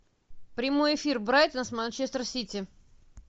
прямой эфир брайтон с манчестер сити